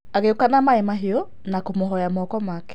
Agĩũka na maĩ mahiũ na kũmũ moya moko make.